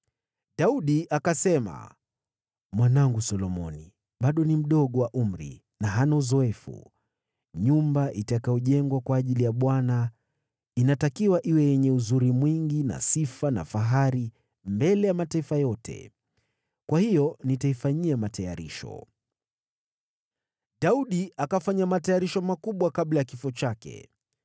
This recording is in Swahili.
Daudi akasema, “Mwanangu Solomoni bado ni mdogo wa umri na hana uzoefu. Nyumba itakayojengwa kwa ajili ya Bwana inatakiwa iwe yenye uzuri mwingi na sifa na fahari mbele ya mataifa yote. Kwa hiyo nitaifanyia matayarisho.” Daudi akafanya matayarisho makubwa kabla ya kifo chake.